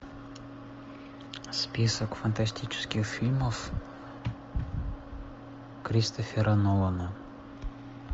список фантастических фильмов кристофера нолана